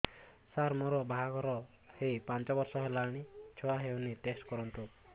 ସାର ମୋର ବାହାଘର ହେଇ ପାଞ୍ଚ ବର୍ଷ ହେଲାନି ଛୁଆ ହେଇନି ଟେଷ୍ଟ କରନ୍ତୁ